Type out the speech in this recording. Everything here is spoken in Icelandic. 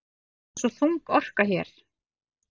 Það er svo þung orka hér.